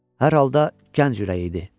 Hər halda gənc ürəyi idi.